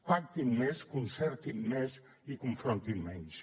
pactin més concertin més i confrontin menys